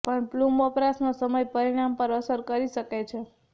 પણ પ્લુમ વપરાશનો સમય પરિણામ પર અસર કરી શકે છે